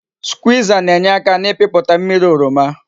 Skwiza na-enyeaka n'ipiputa mmiri oroma